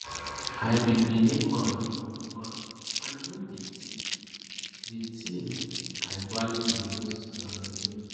i be benin man man i no be thief di tin i value di most na my name